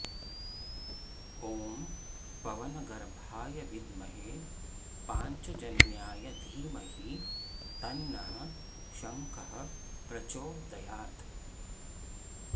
ॐ पवनगर्भाय विद्महे पाञ्चजन्याय धीमहि तन्नः शङ्खः प्रचोदयात्